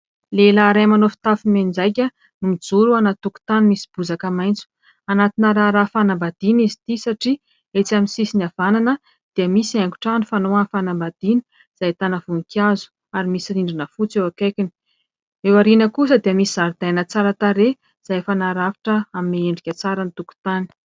Lehilahy iray, manao fitafy mianjaika no mijoro anaty tokotany misy bozaka maitso, anatina raharaha fanambadiana izy ity satria etsy amin'ny sisiny havanana dia misy haingotrano fanao amin'ny fanambadiana, izay ahitana voninkazo ary misy rindrina fotsy eo akaikiny, eo aoriana kosa dia misy zaridaina tsara tarehy izay efa narafitra, hanome endrika tsara ny tokotany.